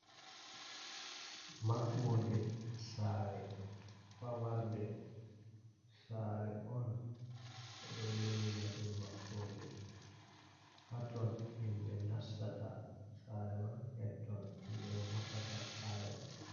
Maɓɓoode saare famarde saare on be do lowina dum maɓɓode hatton, himɓe nastata sare man hetton himɓe vortata saare man.